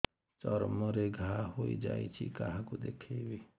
ଚର୍ମ ରେ ଘା ହୋଇଯାଇଛି କାହାକୁ ଦେଖେଇବି